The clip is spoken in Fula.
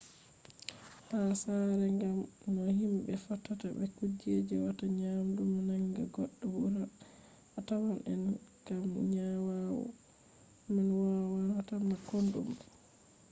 ha sare gam no himbe fottata be kujeji wata nyawu nanga goddo burna a tawan an kam nyawu man wannata ma kodume